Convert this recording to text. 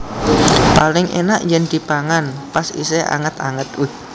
Paling enak yen dipangan pas isih anget anget